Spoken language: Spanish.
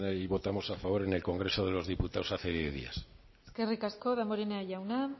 y votamos a favor en el congreso de los diputados hace diez días eskerrik asko damborenea jauna